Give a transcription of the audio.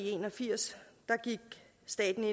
en og firs gik